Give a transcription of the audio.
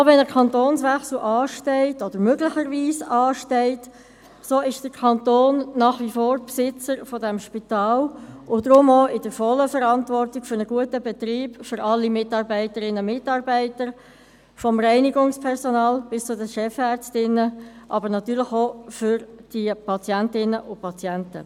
Auch wenn ein Kantonswechsel möglicherweise ansteht, so ist der Kanton nach wie vor Besitzer dieses Spitals und trägt deshalb auch die volle Verantwortung für einen guten Betrieb, für alle Mitarbeitenden – vom Reinigungspersonal bis zu den Chefärztinnen –, aber auch für Patientinnen und Patienten.